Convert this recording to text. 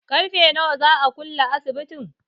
Ƙarfe nawa za a kulle asibitin?